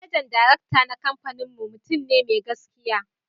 Manajan Darakta na kamfaninmu mutum ne mai gaskiya